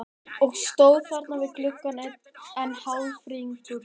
Og stóð þarna við gluggann enn hálfringluð.